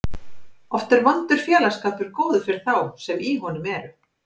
Oft er vondur félagsskapur góður fyrir þá sem í honum eru.